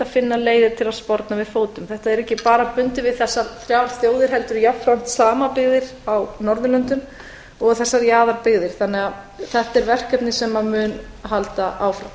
að finna leiðir til að sporna við fótum þetta er ekki bara bundið við þessar þrjár þjóðir heldur jafnframt samabyggðir á norðurlöndum og þessar jaðarbyggðir þannig að þetta er verkefni sem mun halda áfram